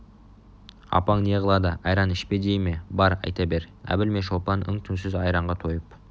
апаң не қылады айран ішпе дей ме бар айта бер әбіл мен шолпан үн-түнсіз айранға тойып